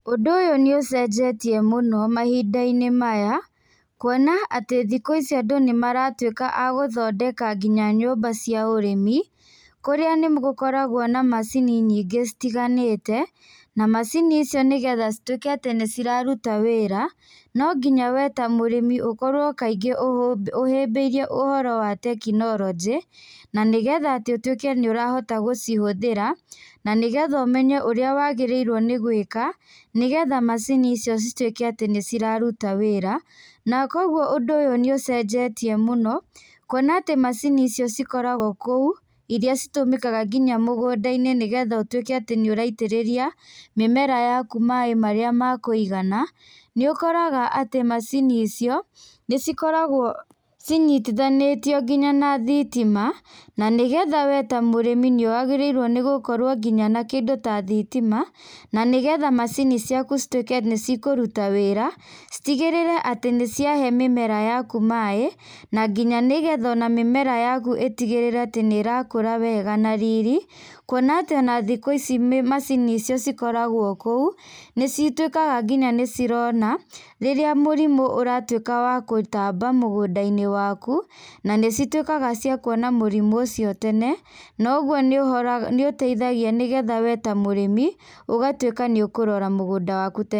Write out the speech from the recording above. Ũndũ ũyũ nĩ ũcenjetie mũnp mahinda maya, kwona atĩ andũ thĩkũ ici nĩ maratuĩka a gũthondeka nyũmba nginya cia ũrĩmi kũrĩa nĩgũkoragwo na macini nyingĩ itiganĩte, na macini ici nĩguo ituĩke atĩ nĩ ciraruta wĩra no nginya we ta mũrĩmi kaingĩ ũkorwo ũhĩmbĩirie ũhoro wa tekinorojĩ na nĩgetha ũtuĩke atĩ nĩ ũrahota gũcihũthĩra, na nĩgetha ũmenye ũrĩa wagĩrĩirwo nĩ gwĩka nĩgetha macini icio cituĩke nĩ iratuta wĩra na kwoguo ũndũ ũyũ nĩ ũcenjetie mũno kwona macini ici cikoragwo kũu iria citũmĩkaga nginya mũgũnda-inĩ nĩgetha ũtuĩke atĩ nĩ ũraitĩrĩria mĩmera yaku maĩ marĩa makũigana, nĩ ũkoraga macini icio cinyitithanĩtio nginya na thitima nĩgetha we ta mũrĩmi nĩ wagĩrĩirwo nĩ gũkorwo na kĩndũ ta thitima na nĩgetha macini ciaku cituĩke nĩ cikĩruta wĩra citigĩrĩre atĩ nĩ ciahe mĩmera yaku maĩ na nginya mĩmera yaku itigĩrĩre atĩ nĩrakũra wega na riri, kwona atĩ thikũ ici macini icio cikoragwo kũu, nĩ cituĩkaga nginya nĩ cirona rĩrĩa mũrimũ ũratuĩka wa gũtamba mũgũnda-inĩ waku na nĩ cituĩkaga wa kwona mũrimũ ũcio tene nogwo nĩ gũteithagia ũrĩmi ũgatuĩka nĩ ũkũrora mũgũnda waku